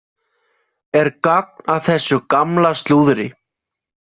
Er gagn af þessu gamla slúðri?